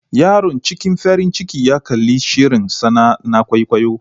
Yaron cikin farin ciki ya kalli shirin tsana na kwaikwayo.